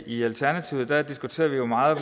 i alternativet diskuterer vi meget